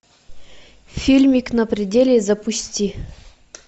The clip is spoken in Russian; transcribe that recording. фильмик на пределе запусти